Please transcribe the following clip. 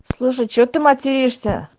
слушай что ты материшься